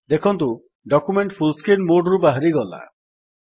ଦେଖନ୍ତୁ document full screen mode ରୁ ବାହାରିଗଲା